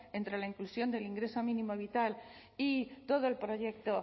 entre la inclusión del ingreso mínimo vital y todo el proyecto